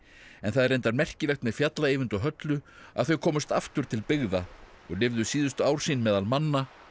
en það er reyndar merkilegt með fjalla Eyvind og Höllu að þau komust aftur til byggða og lifðu síðustu ár sín meðal manna á